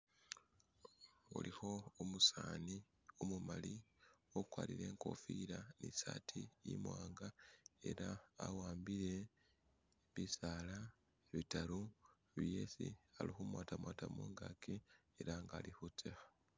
huliho umusani umumali ukwarire inkofila ni saati imwanga ela awambile bisaala bitaru byesi ali humwata mwata mungaki ela nga ali hutseha